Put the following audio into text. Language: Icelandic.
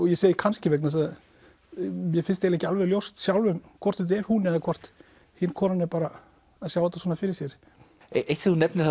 ég segi kannski vegna þess að mér finnst ekki alveg ljóst sjálfum hvort þetta er hún eða hvort hin konan er bara að sjá þetta svona fyrir sér eitt sem þú nefnir